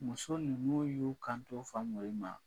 Muso nunnu y'o kanto Famori ma